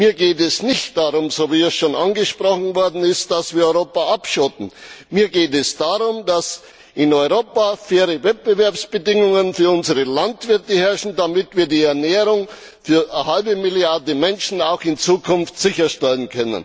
Mir geht es nicht darum wie schon angesprochen dass wir Europa abschotten, mir geht es darum, dass in Europa faire Wettbewerbsbedingungen für unsere Landwirte herrschen, damit wir die Ernährung für eine halbe Milliarde Menschen auch in Zukunft sicherstellen.